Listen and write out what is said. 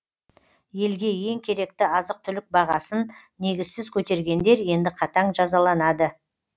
елге ең керекті азық түлік бағасын негізсіз көтергендер енді қатаң жазаланады